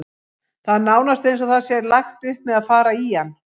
Það er nánast eins og það sé lagt upp með að fara í hann.